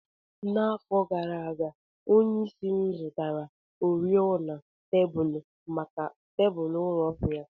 N'afọ gara aga, onyeisi m zụtara oriọna tebụl maka tebụl ụlọ ọrụ ya.